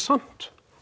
samt